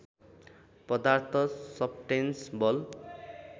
पदार्थ सब्स्टैंस बल